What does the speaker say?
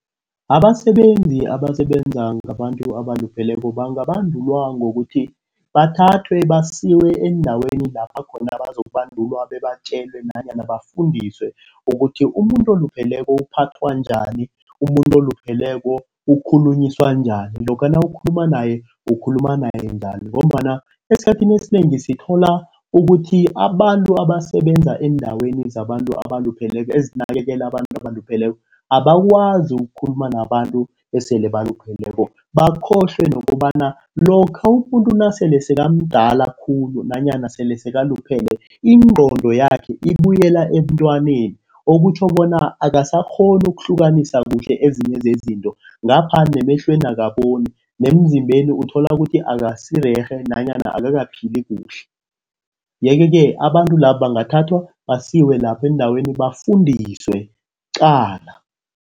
Abasebenzi abasebenza ngabantu abalupheleko bangabandulwa ngokuthi, bathathwe basiwe endaweni lapha khona bazo ukubandulwa, babatjelwe nanyana bafundiswe ukuthi umuntu olupheleko uphathwa njani. Umuntu olupheleko ukhulunyiswana njani lokha nawukhuluma naye ukukhuluma naye njani ngombana esikhathini esinengi sithola ukuthi abantu abasebenza eendaweni zabantu abalupheleko, ezinakekele abantu abalupheleko abakwazi ukukhuluma nabantu esele balupheleko. Bakhohlwe nokobana lokha umuntu nasele sekamdala khulu nanyana sele sekaluphele ingqondo yakhe ibuyela ebuntwaneni. Okutjho bona akasakghoni ukuhlukanisa kuhle ezinye zezinto ngapha nemehlweni akaboni nemzimbeni uthola ukuthi akasirerhe nanyana angakaphili kuhle. Yeke-ke abantu labo bangathathwa basiwe lapho endaweni bafundiswe qala.